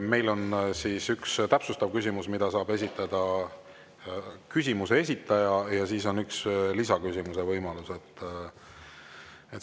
Meil on üldiselt üks täpsustav küsimus, mille saab esitada küsimuse esitaja, ja on üks lisaküsimuse võimalus.